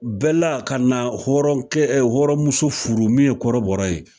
Bɛla ka na hɔrɔn kɛ hɔrɔn muso furu min ye kɔrɔbɔra ye